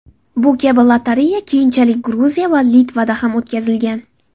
Bu kabi lotereya keyinchalik Gruziya va Litvada ham o‘tkazilgan.